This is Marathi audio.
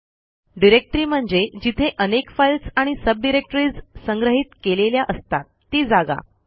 डिरेक्टरी म्हणजे जिथे अनेक फाईल्स आणि सब डिरेक्टरीज संग्रहित केलेल्या असतात ती जागा